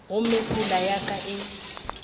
gomme tsela ya ka e